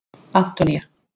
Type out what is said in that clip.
Antonía